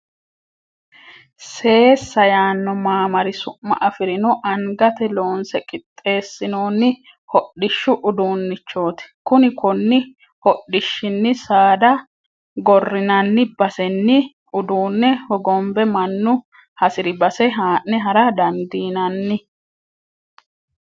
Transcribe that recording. Seessa yaano mamaari su'ma afirino angate loonse qixeesinonni hodhishshu uduunchoti kuni koni hodhishshini saada gorinanni basenni uduune hogombe mannu hasiri base ha'ne hara dandiinanni.